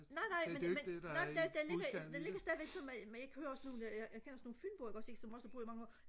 nej nej men men det der ligger stadig sådan men jeg kender også nogle fynboer som har boet herovre i mange år